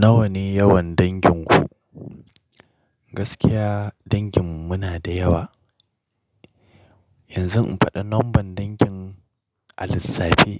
Nawa ne yawan danginku? Gaskiya danginmu muna da yawa. Yanzu in faɗa nomban dangin a lissafe?